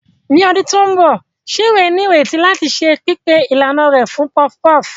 Ní ọdún tó ń bọ̀, Chinwe ní ìrètí láti ṣe pípé ìlànà rẹ̀ fún puff puff.